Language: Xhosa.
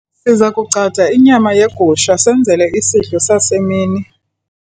siza kugcada inyama yegusha senzele isidlo sasemini